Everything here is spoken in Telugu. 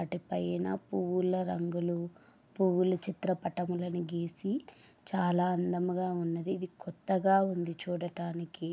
పైన పూల రంగులు పూలు చిత్రపటాలను గీసి చాలా అందంగా ఉన్నది . కొత్తగా ఉంది చూడటానికి .